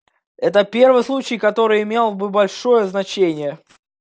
это первый случай который имел бы большое значение